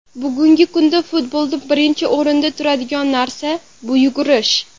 Bugungi kunda futbolda birinchi o‘rinda turadigan narsa bu yugurish.